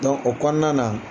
Dɔnc o kɔnɔna na